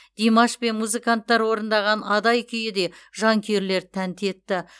димаш пен музыканттар орындаған адай күйі де жанкүйерлерді тәнті етті